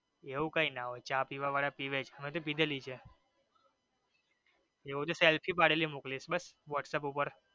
એવું કાઈ નો હોઈ ચા પીવા વાળા પીવે જ અમે પીધેલી છે એવું હોઈ તો selfie પાડેલી મોકલીશ whatsapp ઉપર.